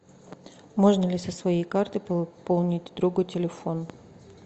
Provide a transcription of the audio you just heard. можно ли со своей карты пополнить другу телефон